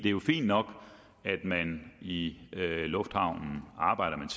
er jo fint nok at man i lufthavnen arbejder med